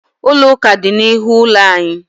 Ụlọ ụka dị n'ihu ụlọ anyị.